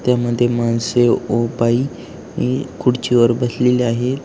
त्या मध्ये माणसे व बाई ही खुर्चीवर बसलेले आहे.